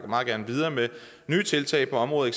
videre med nye tiltag på området